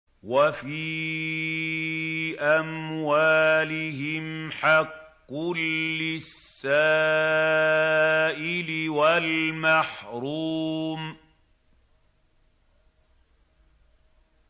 وَفِي أَمْوَالِهِمْ حَقٌّ لِّلسَّائِلِ وَالْمَحْرُومِ